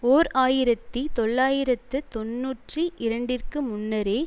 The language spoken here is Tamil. ஓர் ஆயிரத்தி தொள்ளாயிரத்து தொன்னூற்றி இரண்டிற்கு முன்னரே